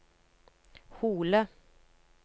Hole